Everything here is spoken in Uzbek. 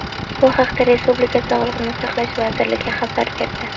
Bu haqda respublika Sog‘liqni saqlash vazirligi xabar berdi .